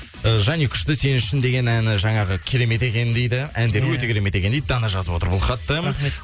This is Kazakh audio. і жаник күшті сен үшін деген әні жаңағы керемет екен дейді әндері өте керемет екен дейді дана жазып отыр бұл хатты рахмет